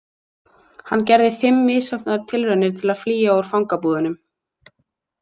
Hann gerði fimm misheppnaðar tilraunir til að flýja úr fangabúðunum.